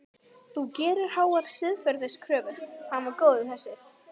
Þú gerir háar siðferðiskröfur, hann var góður þessi.